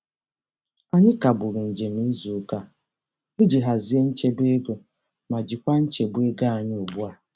Anyị kagburu njem izuụka a iji hazie nchebeego ma jikwa nchegbu ego anyị ugbua.